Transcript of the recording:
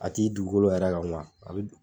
A t'i dugukolo yɛrɛ kan a bi